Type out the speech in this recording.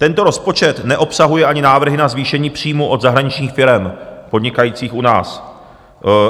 Tento rozpočet neobsahuje ani návrhy na zvýšení příjmů od zahraničních firem podnikajících u nás.